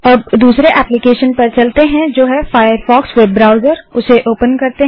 अब दूसरे एप्लीकेशन पर चलते हैं जो है फ़ायरफ़ॉक्स वेब ब्राउसर उसे ओपन करते हैं